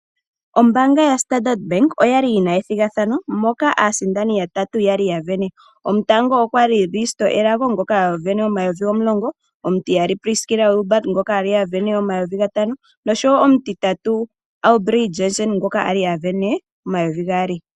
Ombaanga yaStandard oyali yi na ethigathano moka aasindani yatatu yali ya sindana gotango oye Risto Elago ngono a sindana omayovi N$10 000. Omutiyali oye Priskila Wilbard ngoka a sindana omayovi N$ 5000. Nomutitatu oye Aubrey Jansen ngoka a li a sindana omayovi N$ 2000.